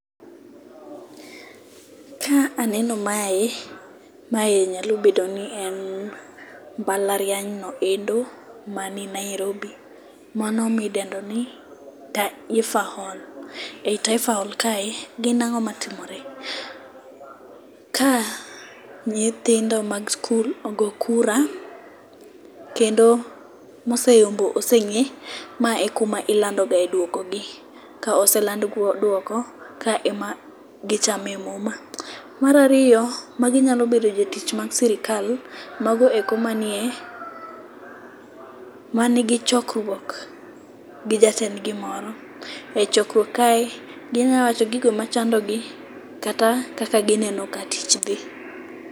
Ka aneno mae ,mae nyalo bedo ni en mbalariany no endo mani Nairobi, mano midendo ni Taifa Hall. E Taifa Hall kae, gin ang'o matimore. Ka nyithindo mag skul ogo kura, kendo moseyombo oseng'e, mae e kuma ilandogae dwokogi. Ka oseland dwoko, ka ema gichame muma. Mar ariyo, magi nyalo bedo jotich mag sirikal mago eko manigi chokruok gi jatendgi moro. E chokruok kae, ginya wacho gigo machandogi kata kaka gineno ka tich dhi.